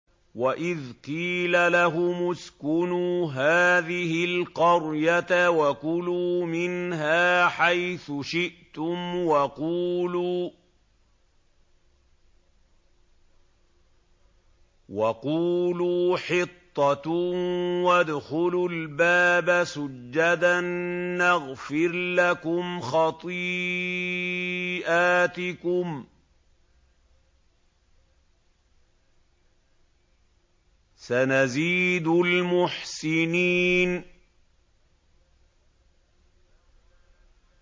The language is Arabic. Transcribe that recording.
وَإِذْ قِيلَ لَهُمُ اسْكُنُوا هَٰذِهِ الْقَرْيَةَ وَكُلُوا مِنْهَا حَيْثُ شِئْتُمْ وَقُولُوا حِطَّةٌ وَادْخُلُوا الْبَابَ سُجَّدًا نَّغْفِرْ لَكُمْ خَطِيئَاتِكُمْ ۚ سَنَزِيدُ الْمُحْسِنِينَ